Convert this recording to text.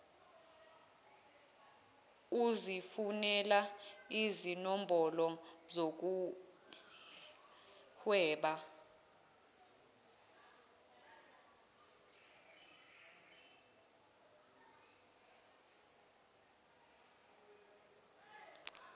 uzifunelani izinombholo zokuhweba